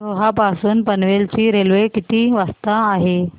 रोहा पासून पनवेल ची रेल्वे किती वाजता आहे